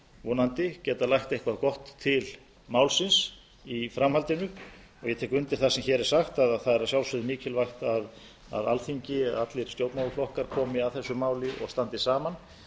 vonandi getum við lagt eitthvað gott til málsins í framhaldinu ég tek undir það sem hér er sagt það er að sjálfsögðu mikilvægt að alþingi allir stjórnmálaflokkar komi að þessu máli og standi saman